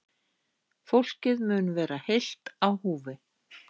Fólkið mun vera heilt á húfi